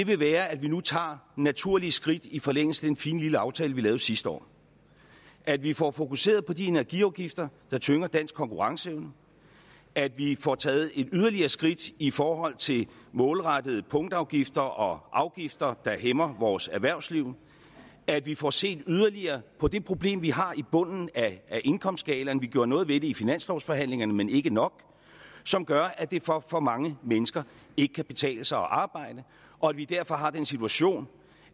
vil være at vi nu tager naturlige skridt i forlængelse af den fine lille aftale vi lavede sidste år at vi får fokuseret på de energiafgifter der tynger dansk konkurrenceevne at vi får taget et yderligere skridt i forhold til målrettede punktafgifter og afgifter der hæmmer vores erhvervsliv at vi får set yderligere på det problem vi har i bunden af indkomstskalaen vi gjorde noget ved det i finanslovsforhandlingerne men ikke nok som gør at det for for mange mennesker ikke kan betale sig at arbejde og at vi derfor har den situation